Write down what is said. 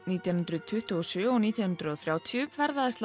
nítján hundruð tuttugu og sjö og nítján hundruð og þrjátíu ferðaðist